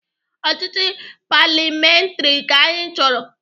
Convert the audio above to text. Ọchịchị paliamentrị ka anyị chọrọ.